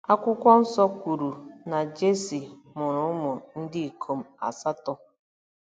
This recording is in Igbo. Akwụkwọ Nsọ kwuru na Jesi “ mụrụ ụmụ ndị ikom asatọ.